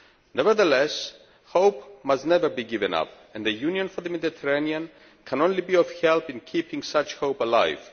Nevertheless, hope must never be given up and the Union for the Mediterranean can only be of help in keeping such hope alive.